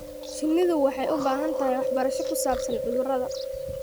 Shinnidu waxay u baahan tahay waxbarasho ku saabsan cudurrada.